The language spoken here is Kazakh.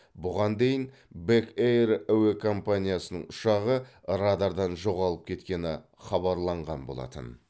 бұған дейін бэк эйр әуе компаниясының ұшағы радардан жоғалып кеткені хабарланған болатын